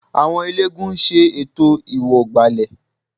Àwọn eléégún ṣe ètò ìwọ̀gbàlẹ̀